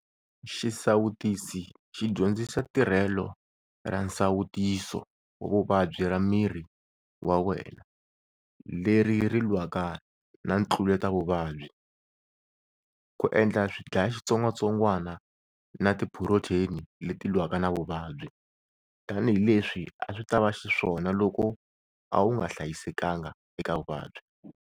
Xisawutisi xi dyondzisa tirhelo ra nsawutiso wa vuvabyi ra miri wa wena, leri ri lwaka na ntluletavuvabyi, ku endla swidlayaxitsongwatsongwana, tiphurotheni leti lwaka na vuvabyi - tanihileswi a swi ta va xiswona loko a wu nga hlayisekanga eka vuvabyi.